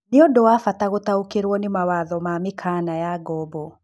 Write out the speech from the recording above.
Nĩ ũndũ wa bata gũtaũkĩrwo nĩ mawatho na mĩkana ya ngombo.